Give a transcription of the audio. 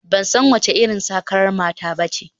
Ban san wace irin sakar mata ba ne